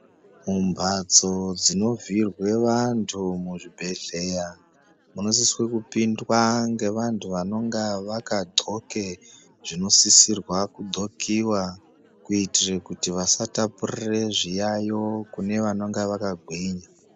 Mumbatso dzinovhiirwa vantu muzvibhedhlera munosisa kupindwa ngevantu vanenge vakagonke zvinosisa kugonkiwe kuitira kuti vasatapurira zviyayo kune vanonga vakagwinya.